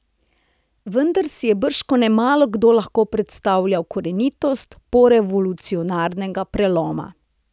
Vendar si je bržkone malokdo lahko predstavljal korenitost porevolucionarnega preloma.